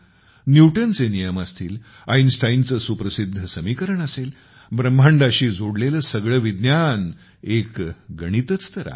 न्यूटनचे नियम असतील आईनस्टाईन चे सुप्रसिद्ध समीकरण असेल ब्रह्मांडाशी जोडलेले सगळे विज्ञान एक गणितच तर आहे